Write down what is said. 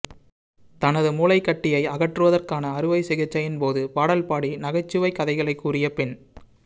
தனது மூளைக்கட்டியை அகற்றுவதற்கான அறுவைச்சிகிச்சையின் போது பாடல் பாடி நகைச்சுவைக் கதைகளைக் கூறிய பெண்